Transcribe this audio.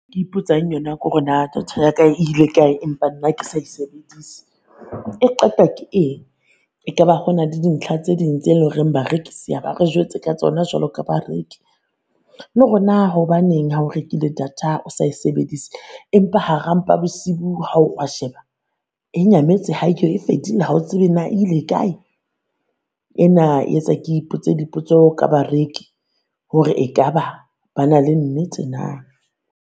Ke ipotsang yona kore naa data yaka e ile kae empa nna ke sa e sebedisi, e qetwa ke eng? Ekaba ho na le dintlha tse ding tse lo reng barekisi a ba re jwetse ka tsona jwalo ka bareki? Le ho na hobaneng ha o rekile data o sa e sebedise empa hara mpa bosiu ha o re o a sheba e nyametse ha e fedile, ha o tsebe naa ile kae? Ena e etsa ke ipotse dipotso ka bareki, hore e ka ba ba na le nnete naa?